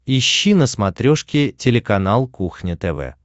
ищи на смотрешке телеканал кухня тв